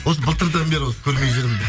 осы былтырдан бері осы көрмей жүрмін